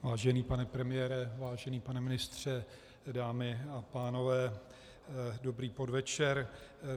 Vážený pane premiére, vážený pane ministře, dámy a pánové, dobrý podvečer.